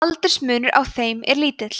aldursmunur á þeim er lítill